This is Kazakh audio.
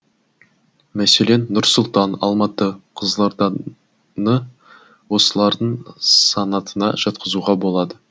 мәселен нұр сұлтан алматы қызылорданы осылардың санатына жатқызуға болады